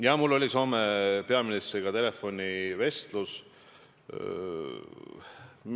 Jah, mul oli Soome peaministriga telefonivestlus.